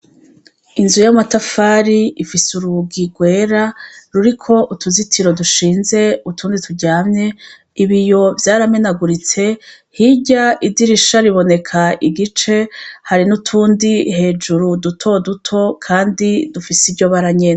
Inzu y'amatafari ifise urugi rwera ruriko utuzitiro dushinze utundi turyamye ibi yo vyaramenaguritse hirya idirisha riboneka igice hari n'utundi hejuru duto duto, kandi dufise iryo baranyene.